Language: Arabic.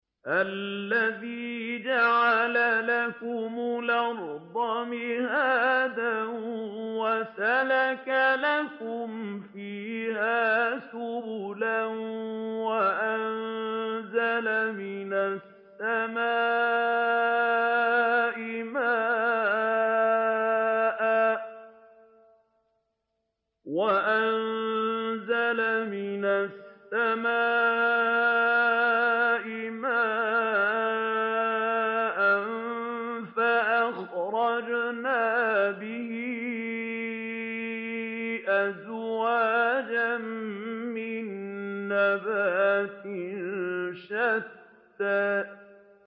الَّذِي جَعَلَ لَكُمُ الْأَرْضَ مَهْدًا وَسَلَكَ لَكُمْ فِيهَا سُبُلًا وَأَنزَلَ مِنَ السَّمَاءِ مَاءً فَأَخْرَجْنَا بِهِ أَزْوَاجًا مِّن نَّبَاتٍ شَتَّىٰ